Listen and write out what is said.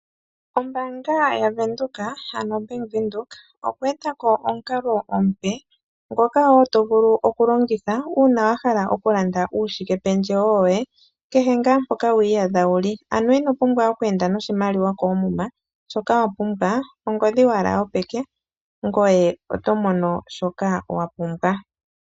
Ombaanga yaVenduka ano oBank Windhoek oye e ta ko omukalo omupe ngoka wo to vulu oku longitha uuna wa hala oku landa uushike pendjewo woye, kehe ngaa mpoka wi iyadha wuli. Ano ino pumbwa oku enda noshimaliwa koomuma, shoka wa pumbwa ongodhi owala yopeke, ngoye oto mono shoka wa pumbwa.